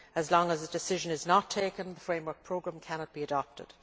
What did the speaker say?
As long as the decision is not taken, the Framework Programme cannot be adopted.